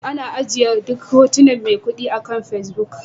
Ana ajiye duk hotunan maikudi akan Facebook